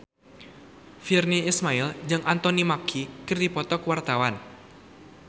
Virnie Ismail jeung Anthony Mackie keur dipoto ku wartawan